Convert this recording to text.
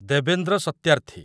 Devendra Satyarthi